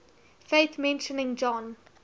faith mentioning john